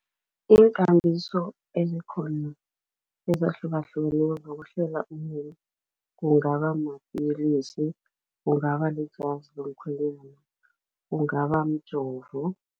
Iinkambiso ezikhona ezahlukahlukeneko zokuhlela umuntu kungaba mapilisi, kungaba lijazi lomkhwenyana, kungaba mjovo.